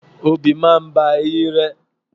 Obì máa bá eyín rẹ.